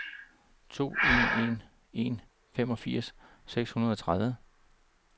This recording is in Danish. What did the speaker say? to en en en femogfirs seks hundrede og tredive